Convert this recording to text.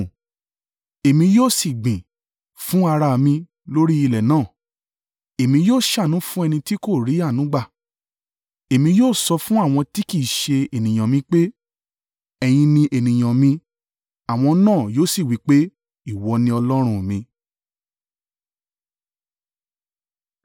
Èmi ó sì gbìn ín fún ara mi lórí ilẹ̀ náà, Èmi yóò ṣàánú fún ẹni tí kò tì í ri ‘Àánú gbà.’ Èmi yóò sọ fún àwọn tí ‘Kì í ṣe ènìyàn mi pé,’ ‘Ẹ̀yin ni ènìyàn mi’; àwọn náà yóò sì wí pé, ‘Ìwọ ni Ọlọ́run mi.’ ”